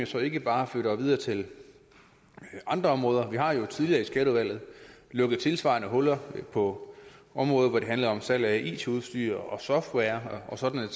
så ikke bare flytter videre til andre områder vi har jo tidligere i skatteudvalget lukket tilsvarende huller på områder hvor det handlede om salg af it udstyr software og sådan